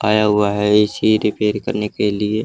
आया हुआ है ए_सी रिपेयर करने के लिए।